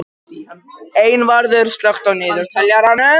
Einvarður, slökktu á niðurteljaranum.